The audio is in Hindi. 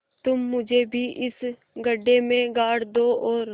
तुम मुझे भी इस गड्ढे में गाड़ दो और